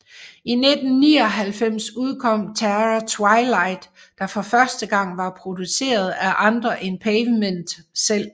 I 1999 udkom Terror Twilight der for første gang var produceret af andre end Pavement selv